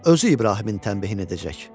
Özü İbrahimin tənbehini edəcək.